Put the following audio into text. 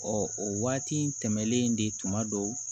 Ɔ o waati tɛmɛnen de tuma dɔw